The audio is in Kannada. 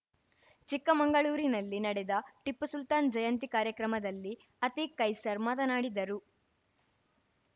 ಚಿಕ್ಕಮಂಗಳೂರಿನಲ್ಲಿ ನಡೆದ ಟಿಪ್ಪು ಸುಲ್ತಾನ್‌ ಜಯಂತಿ ಕಾರ್ಯಕ್ರಮದಲ್ಲಿ ಅತೀಕ್‌ ಕೈಸರ್‌ ಮಾತನಾಡಿದರು